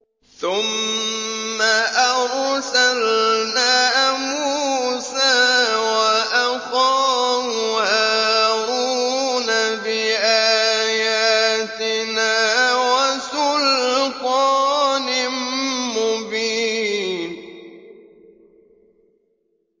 ثُمَّ أَرْسَلْنَا مُوسَىٰ وَأَخَاهُ هَارُونَ بِآيَاتِنَا وَسُلْطَانٍ مُّبِينٍ